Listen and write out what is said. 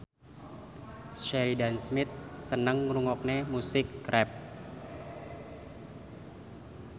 Sheridan Smith seneng ngrungokne musik rap